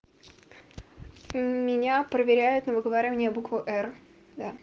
меня проверяют на выговаривание буквы р да